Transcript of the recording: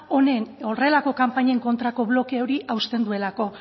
horrelako kanpainen kontrako bloke hori hausten duelako